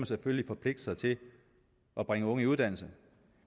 selvfølgelig forpligte sig til at bringe unge i uddannelse